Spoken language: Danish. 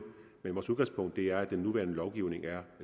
men vores udgangspunkt er at den nuværende lovgivning er